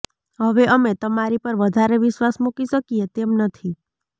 હવે અમે તમારી પર વધારે વિશ્વાસ મુકી શકીએ તેમ નથી